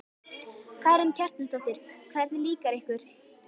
Karen Kjartansdóttir: Hvernig líkar ykkur?